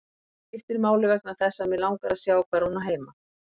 Það skiptir máli vegna þess að mig langar að sjá hvar hún á heima.